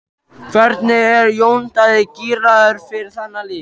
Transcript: Hvernig er Jón Daði gíraður fyrir þann leik?